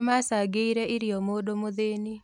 Nĩmacangĩire irio mũndũ mũthĩni